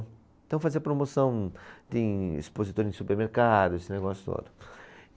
Então fazia promoção de expositores de supermercado, esse negócio todo.